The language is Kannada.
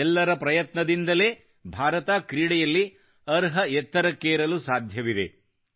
ಎಲ್ಲರ ಪ್ರಯತ್ನದಿಂದಲೇ ಭಾರತ ಕ್ರೀಡೆಯಲ್ಲಿ ಅರ್ಹ ಎತ್ತರಕ್ಕೇರಲು ಸಾಧ್ಯವಿದೆದೆ